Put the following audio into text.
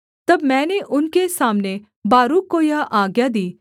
तब मैंने उनके सामने बारूक को यह आज्ञा दी